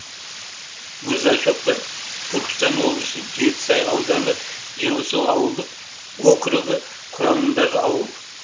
мырзашоқы түркістан облысы жетісай ауданы жылысу ауылдық округі құрамындағы ауыл